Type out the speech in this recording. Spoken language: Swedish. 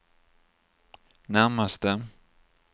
närmaste